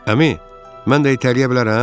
Əmi, mən də itələyə bilərəm?